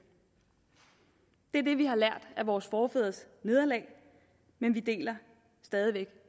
det er det vi har lært af vores forfædres nederlag men vi deler stadig væk